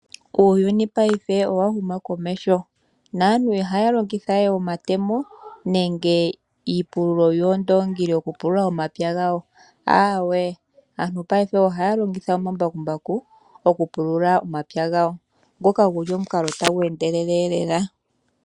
Uuyuni paife owa huma komeho, naantu ihaa longitha we omatemo nenge iipululo yeendoongi okupulula omapya gawo, aawe, ohaa longitha omambakumbaku okupulula omapya gawo, ngoka guli omukalo tagu endelele lela.